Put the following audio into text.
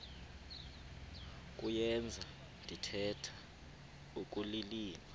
kuyenza ndithetha ukulilima